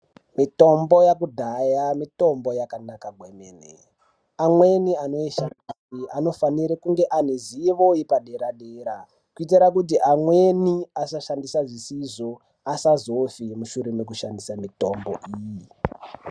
Mitombo yakudhaya mitombo yakanaka kwemene, amweni anoishandisa anofanire kunge ane zivo yepadera dera kuitira kuti amweni asashandisa zvisizvo asazofe mushure mekushandisa mitombo.